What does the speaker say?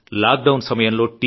lock down సమయంలో T